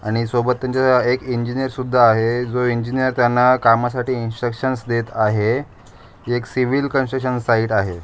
आणि सोबत त्यांच्या एक इंजिनिअर सुद्धा आहे. जो इंजिनीअर त्यांना कामासाठी इंस्ट्रक्शनस देत आहे. हे सिविल कन्स्ट्रकशन साइट आहे.